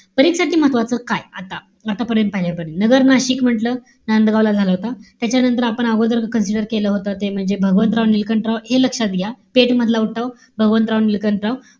परीक्षेसाठी महत्वाचं काय? आता आतापर्यंत आलेलं. नगर-नाशिक म्हंटल. नांदगावला झाला होता. त्याच्यानंतर आपण अगोदरच consider केलं होतं. ते म्हणजे भगवंतराव निळकंठराव हे लक्षात घ्या. पेठ मधला उठाव, भगवंतराव निळकंठराव.